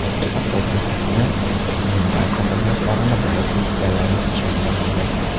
Hattoki xotini uning barcha qilmishlarini bilib, eshitganlariga ishona olmagan.